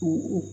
U